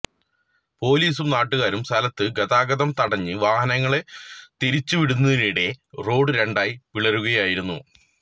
പോലീസും നാട്ടുകാരും സ്ഥലത്ത് ഗതാഗതം തടഞ്ഞ് വാഹനങ്ങള് തിരിച്ചുവിടുന്നതിനിടെ റോഡ് രണ്ടായി പിളരുകയായിരുന്നു